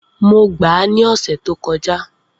Mo gba ni ọsẹ to kọja.